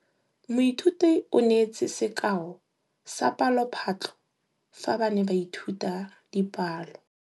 Moithuti o neetse sekaô sa palophatlo fa ba ne ba ithuta dipalo.